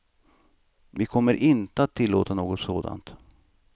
Vi kommer inte att tillåta något sådant.